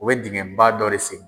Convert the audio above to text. U bɛ dingɛ ba dɔ de seni.